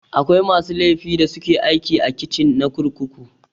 Akwai masu laifi da suke aiki a kicin na kurkuku.